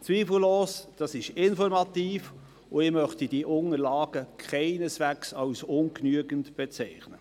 Zweifellos ist das informativ, und ich möchte diese Unterlagen in keiner Weise als ungenügend bezeichnen.